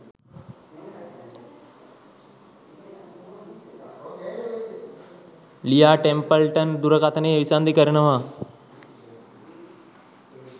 ලියා ටෙම්පල්ටන් දුරකථනය විසන්ධි කරනවා